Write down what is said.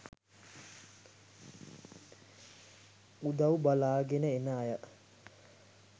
උදව් බලාගෙන එන අය